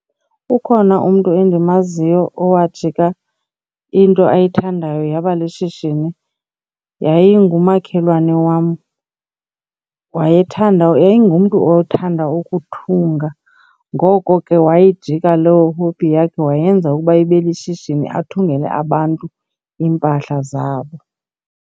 Ukhona umntu endimaziyo owajika into ayithandayo yaba lishishini. Yayi ngumakhelwane wam, wayethanda yayi ngumntu othanda ukuthunga. Ngoko ke wayijika loo hobby yakhe wayenza ukuba ibe lishishini, athungele abantu iimpahla zabo.